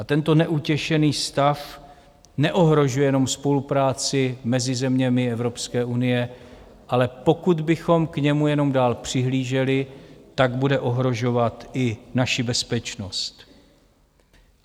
A tento neutěšený stav neohrožuje jenom spolupráci mezi zeměmi Evropské unie, ale pokud bychom k němu jenom dál přihlíželi, tak bude ohrožovat i naši bezpečnost.